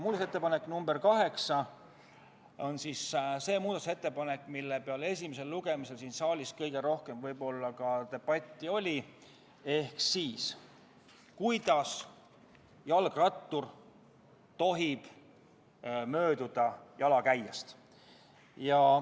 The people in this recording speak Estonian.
Muudatusettepanek nr 8 on see muudatusettepanek, mille üle esimesel lugemisel siin saalis võib-olla kõige rohkem debatti peeti, ehk kuidas jalgrattur tohib mööduda jalakäijast.